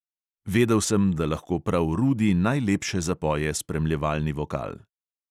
Vedel sem, da lahko prav rudi najlepše zapoje spremljevalni vokal.